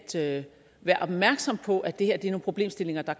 at være opmærksom på at det her er problemstillinger der